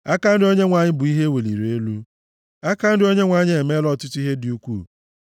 Aka nri Onyenwe anyị bụ ihe e weliri elu; aka nri Onyenwe anyị emeela ọtụtụ ihe dị ukwuu!”